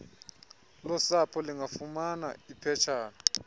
losapho lingalifumana iphetshan